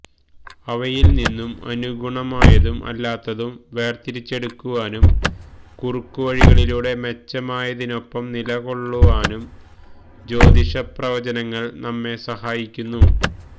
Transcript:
അവയിൽനിന്ന് അനുഗുണമായതും അല്ലാത്തതും വേർതിരിച്ചെടുക്കുവാനും കുറുക്കുവഴികളിലൂടെ മെച്ചമായതിനൊപ്പം നിലകൊള്ളുവാനും ജ്യോതിഷപ്രവചനങ്ങൾ നമ്മെ സഹായിക്കുന്നു